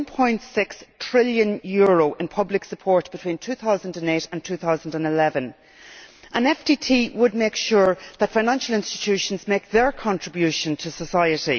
1.6 trillion in public support between 2008 and 2011. An FTT would make sure that financial institutions make their contribution to society.